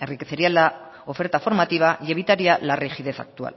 enriquecería la oferta formativa y evitaría la rigidez actual